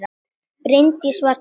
Bryndís var dugleg.